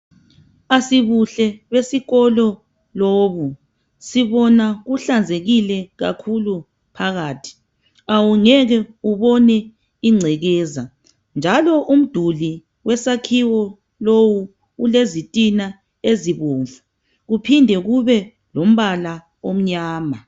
Asibuhle besikolo lobu. Sibona kuhlanzekile kakhulu phakathi . Awungeke ubone ingcekeza njalo umduli wesakhiwo lowu ulezitina ezibomvu kuphinde kube lombala omnyama.